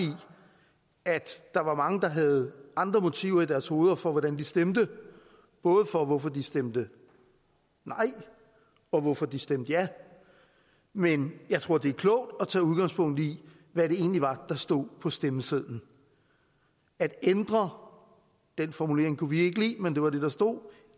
at der var mange der havde andre motiver i deres hoveder for hvordan de stemte både for hvorfor de stemte nej og hvorfor de stemte ja men jeg tror det er klogt at tage udgangspunkt i hvad det egentlig var der stod på stemmesedlen at ændre den formulering kunne vi ikke lide men det var det der stod